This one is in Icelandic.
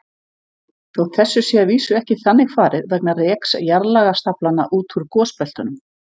Þótt þessu sé að vísu ekki þannig farið vegna reks jarðlagastaflanna út úr gosbeltunum.